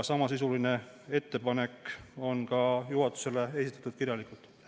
Samasisuline ettepanek on juhatusele ka kirjalikult esitatud.